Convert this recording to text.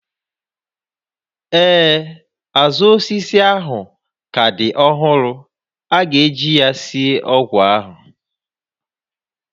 Ee, azụ osisi ahụ ka dị ọhụrụ, a ga-eji ya sie ọgwụ ahụ